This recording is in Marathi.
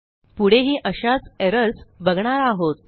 पुढेही अशाच एरर्स बघणार आहोत